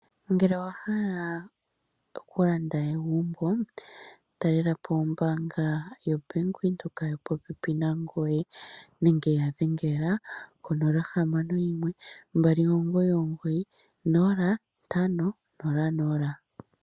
Ngele owa hala okulanda aegumbo talelapo ombanga YaVenduka yili popepi nangoye nenge wuya dhengele konomola yo 0612990500